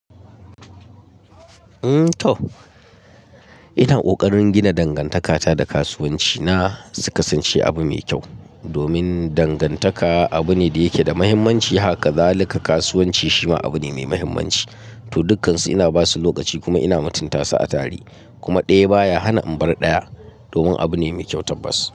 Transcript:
Mm toh, ina kokarin gina dangantakata da kasuwanci na. Suka sance abu mai kyau, domin dangantaka abu ne da yake da muhimmanci. Haka zalika kasuwanci shima abu ne mai muhimmanci. To dukkansu ina basu lokaci kuma ina mutunta su a tare. Kuma ɗaya baya hana in bar ɗaya, domin abu ne mai kyau tabbas.